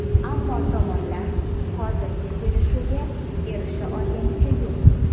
Ammo tomonlar hozircha kelishuvga erisha olganicha yo‘q.